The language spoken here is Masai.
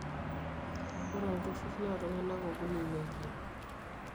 Ore olturur naa iltung'anak okuni neilep.